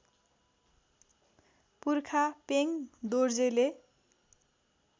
पुर्खा पेङ दोर्जेले